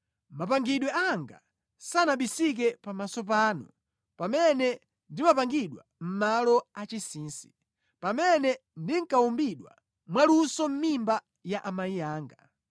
Mapangidwe anga sanabisike pamaso panu pamene ndimapangidwa mʼmalo achinsinsi, pamene ndinkawumbidwa mwaluso mʼmimba ya amayi anga.